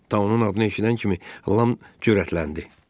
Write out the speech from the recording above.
Taunun adını eşidən kimi Lam cürətləndi.